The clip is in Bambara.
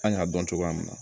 Kan ka dɔn cogoya min na